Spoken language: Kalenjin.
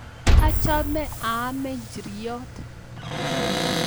Achome aame nchiriot